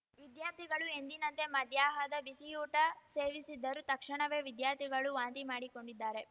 ವಿದ್ಯಾರ್ಥಿಗಳು ಎಂದಿನಂತೆ ಮಧ್ಯಾಹದ ಬಿಸಿಯೂಟ ಸೇವಿಸಿದ್ದರು ತಕ್ಷಣವೇ ವಿದ್ಯಾರ್ಥಿಗಳು ವಾಂತಿ ಮಾಡಿಕೊಂಡಿದ್ದಾರೆ